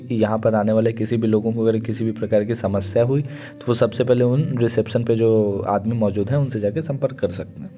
यहाँ पर आनेवाले किसी भी लोगो को अगर किसी भी प्रकार की समस्या हुई तो सबसे पहले उन रिसेप्शन पे जो आदमी मौजूद हैं उनसे जाके संपर्क कर सकते हैं।